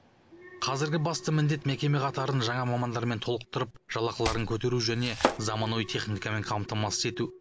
қазіргі басты міндет мекеме қатарын жаңа мамандармен толықтырып жалақыларын көтеру және заманауи техникамен қамтамасыз ету